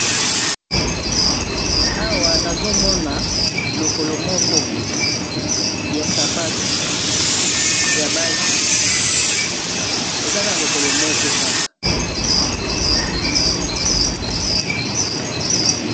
awa nazomona lokolo moko ya sapatu ya basi ezaka lokolo moko kaka